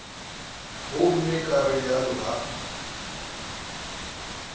gomme ka go realo ba